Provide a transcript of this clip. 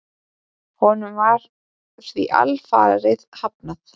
Honum var því alfarið hafnað.